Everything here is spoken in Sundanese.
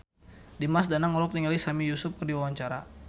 Dimas Danang olohok ningali Sami Yusuf keur diwawancara